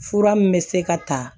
Fura min bɛ se ka ta